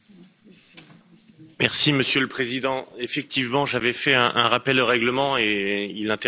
Monsieur le Président, effectivement, j'avais fait un rappel au règlement et il intervient au milieu de cette discussion.